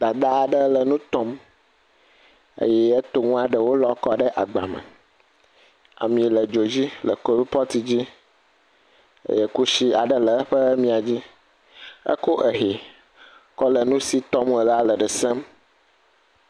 Dada aɛe le nu tɔm, eye etɔ ŋu ɖewo lɔ kɔ ɖe agba me. Ami le dzodzi le klipɔti dzi eye kusi aɖe le eƒe mia dzi. Ekɔ exɛ le nu si tɔm wole la le ɖe sem.